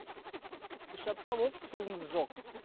үш апта болды суымыз жоқ